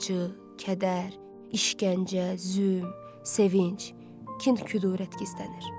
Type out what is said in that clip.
acı, kədər, işgəncə, zülm, sevinc, kin-kudurət gizlənir.